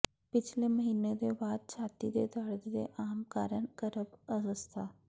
ਪਿਛਲੇ ਮਹੀਨੇ ਦੇ ਬਾਅਦ ਛਾਤੀ ਦੇ ਦਰਦ ਦੇ ਆਮ ਕਾਰਨ ਗਰਭ ਅਵਸਥਾ